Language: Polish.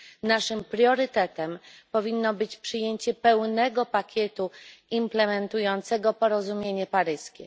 Naszym priorytetem powinno być przyjęcie pełnego pakietu implementującego porozumienie paryskie.